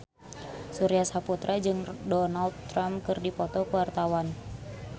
Surya Saputra jeung Donald Trump keur dipoto ku wartawan